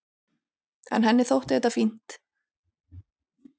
En henni þótti þetta fínt.